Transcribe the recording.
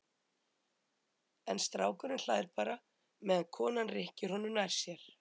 En strákurinn hlær bara meðan konan rykkir honum nær sér.